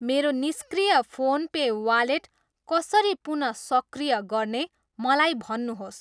मेरो निष्क्रिय PhonePe wallet कसरी पुन सक्रिय गर्ने मलाई भन्नुहोस्।